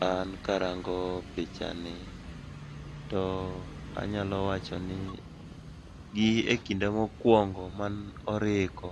An karango pichani, to anyalo wacho ni gi e kinde mokwongo mane oripo